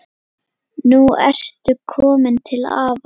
Nú ertu komin til afa.